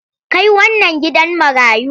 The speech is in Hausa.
Kai wannan gidan marayu!